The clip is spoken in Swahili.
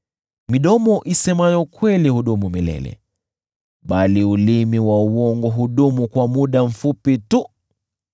Midomo isemayo kweli hudumu milele, bali ulimi wa uongo hudumu kwa muda mfupi tu.